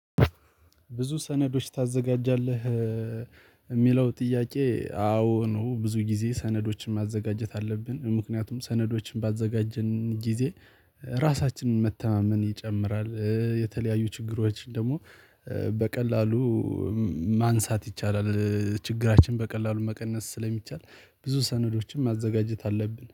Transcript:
ብዙ ሰነዶች ታዘጋጃለህ የሚለው ጥያቄ? አዎ ነው ብዙ ጊዜ ሰነዶችን ማዘጋጀት አለብን ምክንያቱም ሰነዶችን ባዘጋጀን ጊዜ ራሳችንን መተማመን ይጨምራል የተለያዩ ችግሮችን ደግሞ በቀላሉ ማንሳት ይቻላል። ችግራችን በቀላሉ መቀነስ ስለሚቻል ብዙ ሰነዶችን ማዘጋጀት አለብን